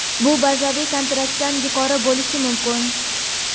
Bu – bazaviy kontraktdan yuqori bo‘lishi mumkin.